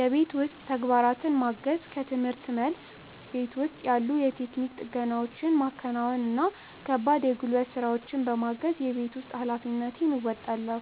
የቤት ውስጥ ተግባራትን ማገዝ፦ ከርምህርት መልስ፣ ቤት ውስጥ ያሉ የቴክኒክ ጥገናዎችን ማከናወን እና ከባድ የጉልበት ስራዎችን በማገዝ የቤት ውስጥ ኃላፊነቴን እወጣለሁ።